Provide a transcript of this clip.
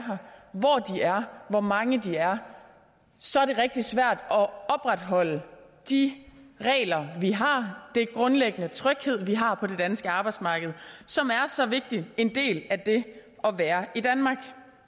hvor mange de er så er det rigtig svært at opretholde de regler vi har den grundlæggende tryghed vi har på det danske arbejdsmarked og som er så vigtig en del af det at være i danmark